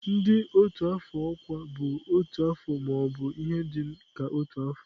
ndị otu afọ ọkwa bụ otu afọ ma ọ bụ ihe dị ka otu afọ.